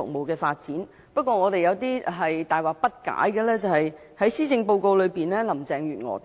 可是，有一點我們大惑不解。在施政報告內，特首林鄭月娥